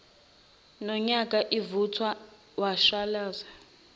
nonyoka ivuthwa washalaza